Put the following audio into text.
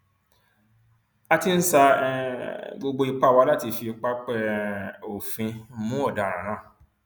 a ti ń sa um gbogbo ipá wa láti fi pápẹ um òfin mú ọdaràn náà